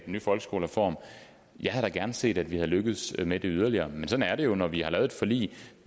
nye folkeskolereform jeg havde da gerne set at vi havde lykkedes med det yderligere men sådan er det jo når vi har lavet et forlig